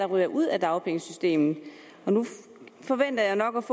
ryger ud af dagpengesystemet nu får jeg nok